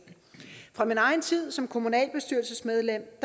fra min egen tid som kommunalbestyrelsesmedlem